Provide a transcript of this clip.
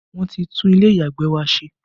Wọn ti tún ilé ìyàgbẹ̀ wa ṣe